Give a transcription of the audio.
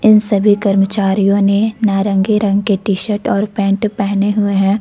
इन सभी कर्मचारियों ने नारंगी रंग के और टी शर्ट और पैंट पहने हुए हैं।